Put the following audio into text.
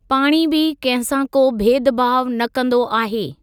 पाणी बि कंहिं सां को भेदभाउ न कंदो आहे।